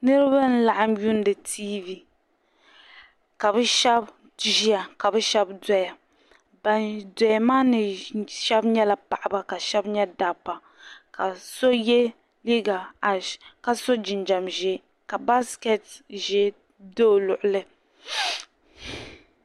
Niribi n laɣim yuuni tv,k kabi shab ʒiya kabi shab doya ban doya maa shabi nyala paɣaba ka bi shab nya daba ka sɔ ye liiga ash ka sɔ jinjam ʒɛɛ ka basket ʒɛɛ do ɔ luɣili